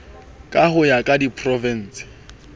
ka ho ya ka diprovinse